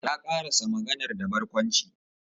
Ya karasa maganar da barkwanci